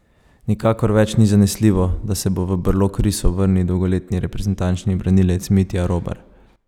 Nikakor več ni zanesljivo, da se bo v brlog risov vrnil dolgoletni reprezentančni branilec Mitja Robar.